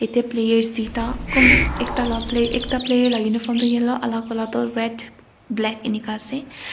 yatae players tuita kum ekta la play ekta player la uniform toh yellow alak ola toh red black enika ase.